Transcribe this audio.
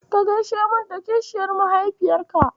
Ka gaishe min da kishiyar mahaifiyarka.